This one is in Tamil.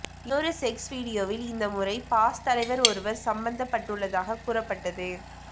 இன்னொரு செக்ஸ் வீடியோவில் இந்த முறை பாஸ் தலைவர் ஒருவர் சம்பந்தப்பட்டுள்ளதாகக் கூறப்பட்டது